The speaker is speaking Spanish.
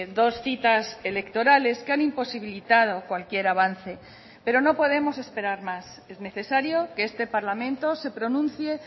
dos citas electorales que han imposibilitado cualquier avance pero no podemos esperar más es necesario que este parlamento se pronuncie